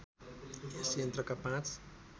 यस यन्त्रका पाँच